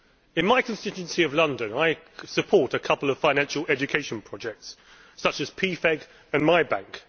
In my constituency of London, I support a couple of financial education projects such as PFEG and MyBank.